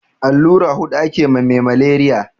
Allura hudu ake ma me maleriya